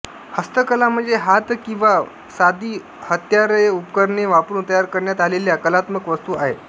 हस्तकला म्हणजे हात किंवा व साधी हत्यारेउपकरणे वापरून तयार करण्यात आलेल्या कलात्मक वस्तू आहेत